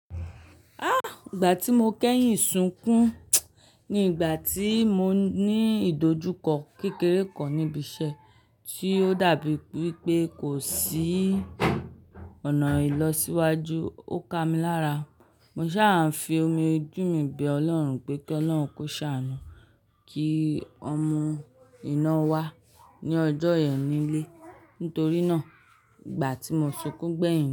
Ìgbà tí mo kẹ́yìn sunkún ni ìgbà tí mo ní ìdojúkọ kékeré kan ni ibi iṣẹ́ tí ó dàbí wípé kò sí ọ̀nà ìlọsíwájú, ó kami lára. Mo sáa fi omi ojù mí bẹ Ọlọ́run pé kí Ọlọ́run kó ṣàánú kí wọn mu ìnáwó ní ọjọ́ yẹn nílé. Nítorí náà, ìgbà tí mo sunkún gbẹ̀yìn.